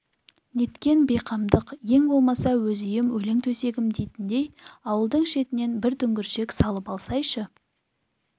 неткен бейқамдық ең болмаса өз үйім өлең төсегім дейтіндей ауылдың шетінен бір дүңгіршек салып алсайшы